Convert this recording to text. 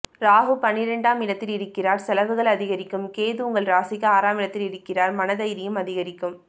ராகு பன்னிரெண்டாம் இடத்தில் இருக்கிறார் செலவுகள் அதிகரிக்கும் கேது உங்கள் ராசிக்கு ஆறாமிடத்தில் இருக்கிறார் மன தைரியம் அதிகரிக்கும்